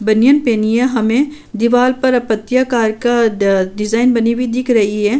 बनियान पहनी है। हमें दीवाल पर पत्तियाकार का ड ड डिजाईन बनी हुई दिख रही हैं।